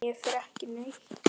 Ég fer ekki neitt.